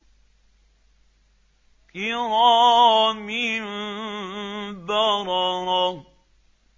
كِرَامٍ بَرَرَةٍ